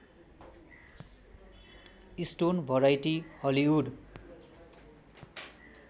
stone variety Hollywood